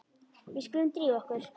Við skulum drífa okkur.